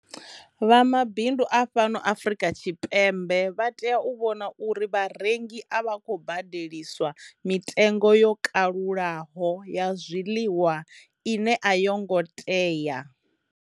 Vha mabindu a fhano Afrika Tshipembe vha tea u vhona uri vharengi a vha khou badeliswa mitengo yo kalulaho ya zwiḽiwa ine a yo ngo tea.